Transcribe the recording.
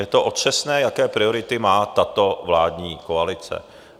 Je to otřesné, jaké priority má tato vládní koalice.